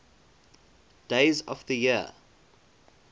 days of the year